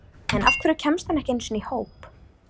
En af hverju kemst hann ekki einu sinni í hóp?